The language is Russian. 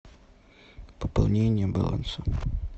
пополнение баланса